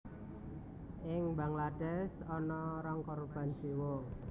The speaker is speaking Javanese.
Ing Bangladesh ana rong korban jiwa